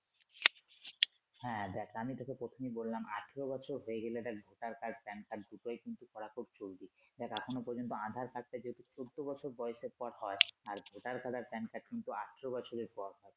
হ্যা দেখ আমি তোকে প্রথমেই বললাম আঠারো বছর হয়ে গেলে Voter card Pan Card দুটোই কিন্তু খুব জরুরি দেখ এখনো পর্যন্ত Aadhar card টা যদি চৌদ্দ বছর বয়সের পর হয় আর Voter card Pan Card কিন্তু আঠারো বছরের আগে পর হয়।